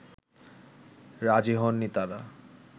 রাজী হননি তারা